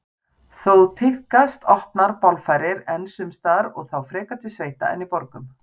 Þó tíðkast opnar bálfarir enn sums staðar og þá frekar til sveita en í borgum.